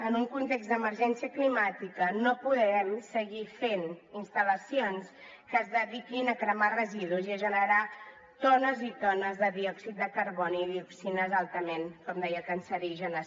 en un context d’emergència climàtica no podem seguir fent instal·lacions que es dediquin a cremar residus i a generar tones i tones de diòxid de carboni dioxines altament com deia cancerígenes